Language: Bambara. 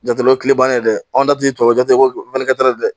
Jate bannen dɛ anw ta ti tubabujaa dɛ